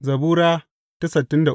Zabura Sura